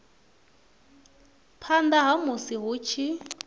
phanda ha musi hu tshi